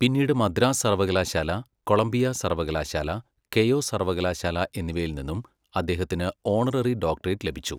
പിന്നീട് മദ്രാസ് സര്വകലാശാല, കൊളംബിയ സര്വകലാശാല, കെയോ സര്വകലാശാല എന്നിവയിൽ നിന്നും അദ്ദേഹത്തിന് ഓണററി ഡോക്ടറേറ്റ് ലഭിച്ചു.